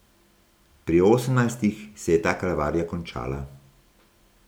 Pri osemnajstih se je ta kalvarija končala.